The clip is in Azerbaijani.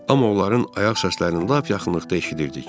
Amma onların ayaq səslərini lap yaxınlıqda eşidirdik.